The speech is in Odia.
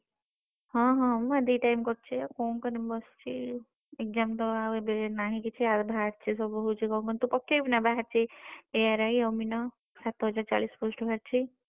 ହଁ ହଁ ମୁଁ ଏଇ ଦି time କରୁଚି ଆଉ କଣ କରିବି ବସିଚି exam ତ ଏବେ ନାହିଁ କିଛି ଆଉ ବାହାରିଛି ସବୁ ହଉଚି କଣ କହିଲୁ ତୁ ପକେଇବୁ ନା ବାହାରିଛି ARI ଅମିନ ସାତହଜାର ଚାଳିଶ post ବାହାରିଛି।